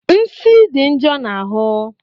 Nsi dị njo na ahụ